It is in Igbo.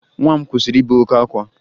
Nwa m kwụsịrị ibe oke ákwá